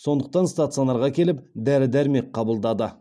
сондықтан стационарға келіп дәрі дәрмек қабылдады